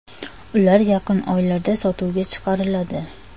Ular yaqin oylarda sotuvga chiqariladi.